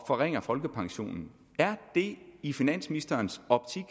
forringer folkepensionen i finansministerens optik